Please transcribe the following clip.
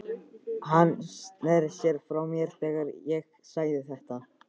Hann sneri sér frá mér þegar ég sagði þetta.